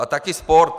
A taky sport.